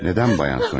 Niyə, Xanım Sonya?